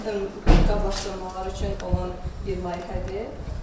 Hörmətli qonaqlarımız üçün olan bir mərasimdir.